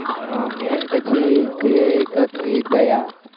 પછી દયા